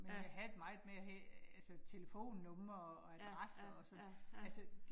Ja. Ja ja ja ja